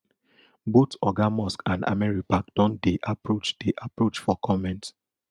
both oga musk and americapac don dey approach dey approach for comment